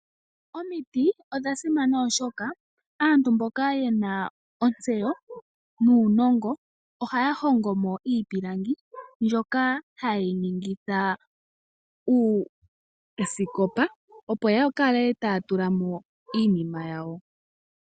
Omiti odha simana oshoka aantu mboka ye na ontseyo nuunongo ohaya hongo mo iipilangi, mbyoka haye yi ningitha uusikopa opo ya kale taya tula mo iinima yawo.